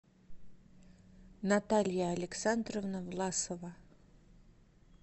наталья александровна власова